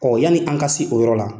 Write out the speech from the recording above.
yani an ka se o yɔrɔ la.